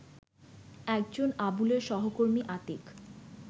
একজন আবুলের সহকর্মী আতীক